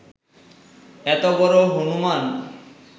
এত বড় হনূমান্